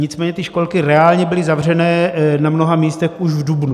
Nicméně ty školky reálně byly zavřené na mnoha místech už v dubnu.